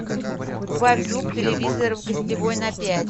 убавь звук телевизора в гостевой на пять